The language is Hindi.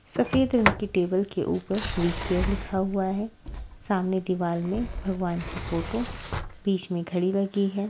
सफेद रंग की टेबल के ऊपर वी_केयर लिखा हुआ है सामने दीवार में भगवान की फोटो बीच में घड़ी लगी है।